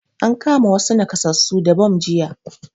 An kama wassu nakasassu da bam jiya